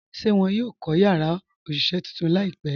Ṣé wọn yóò kọ̀ yàrá òṣiṣẹ̀ tuntun laípẹ̀?